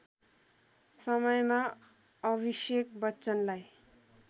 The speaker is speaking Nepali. समयमा अभिशेक बच्चनलाई